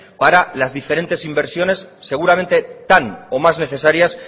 para la diferentes inversiones seguramente tan o más necesarias